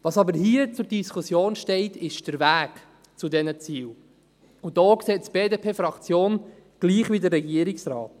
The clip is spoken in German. Was aber hier zur Diskussion steht, ist der Weg zu diesen Zielen, und da sieht es die BDP-Fraktion gleich wie der Regierungsrat.